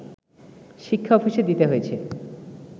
শিক্ষা অফিসে দিতে হয়েছে